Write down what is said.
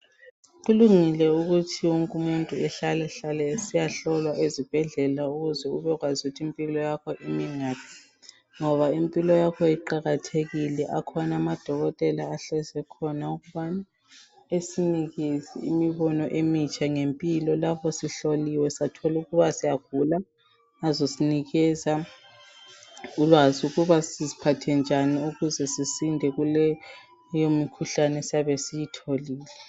Kulungile ukuthi wonke umuntu ehlale hlale esiyahlolwa ezibhedlela ukuze ubekwazi ukuthi impilo yakho imi ngaphi ngoba impilo yakho iqakathekile. Akhona amadokotela ahlezi ekhona okufanele esinikeze imibono emitsha ngempilo lapho sihloliwe sathola ukuba siyagula, azosinikeza ulwazi ukuba siziphathe njani ukuze sisinde kuleyimikhuhlane esiyabe siyitholile.